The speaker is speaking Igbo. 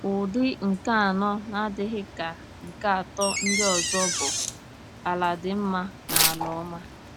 Ụdị nke anọ, na-adịghị ka nke atọ ndị ọzọ, bụ “ala dị mma” na “ala ọma.”